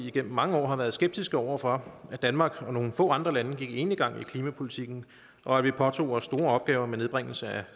igennem mange år har været skeptiske over for at danmark og nogle få andre lande gik enegang i klimapolitikken og at vi påtog os store opgaver med nedbringelse af